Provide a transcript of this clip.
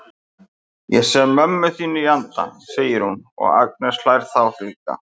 Ég sé mömmu þína í anda, segir hún og Agnes hlær þá líka.